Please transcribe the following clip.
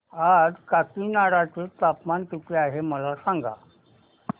आज काकीनाडा चे तापमान किती आहे मला सांगा